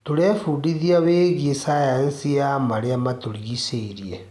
Tũrebundithia wĩgiĩ cayanci ya marĩa matũrigicĩirie.